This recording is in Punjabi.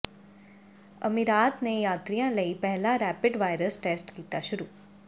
ਅਮੀਰਾਤ ਨੇ ਯਾਤਰੀਆਂ ਲਈ ਪਹਿਲਾ ਰੈਪਿਡ ਵਾਇਰਸ ਟੈਸਟ ਕੀਤਾ ਸ਼ੁਰੂ